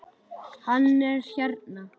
Hann er hérna.